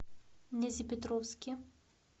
нязепетровске